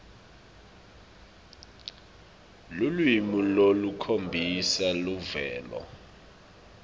lulwimi lolukhombisa luvelo